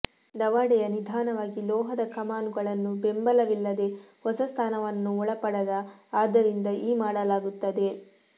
ದವಡೆಯ ನಿಧಾನವಾಗಿ ಲೋಹದ ಕಮಾನುಗಳನ್ನು ಬೆಂಬಲವಿಲ್ಲದೆ ಹೊಸ ಸ್ಥಾನವನ್ನು ಒಳಪಡದ ಆದ್ದರಿಂದ ಈ ಮಾಡಲಾಗುತ್ತದೆ